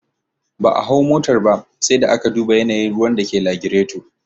Ba a hau motar ba, sai aka duba yanayin ruwan da ke lagireto